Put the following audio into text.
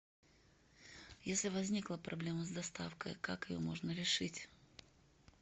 если возникла проблема с доставкой как ее можно решить